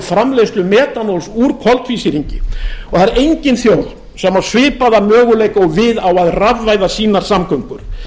framleiðslu metanól úr koltvísýringi það er engin þjóð sem á svipaða möguleika og við á að rafvæða sínar samgöngur